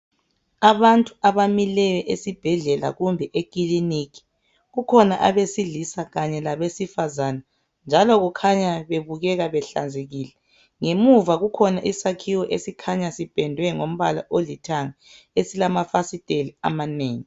Abantu abamileyo esibhedlela kumbe ekilinika. Kukhona abesilisa kanye labesifazane njalo babukeka behlanzekile. Ngemuva kukhona isakhiwo esikhanya sipendwe ngombala olithanga esilamafasiteli amanengi.